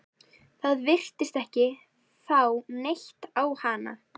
Það virtist ekki fá neitt á hana.